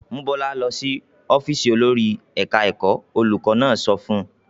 "Mú Bọ́lá lọ ọ́fíísì olórí ẹ̀ka-ẹ̀kọ́!" Olùkọ́ní náà sọ fún un.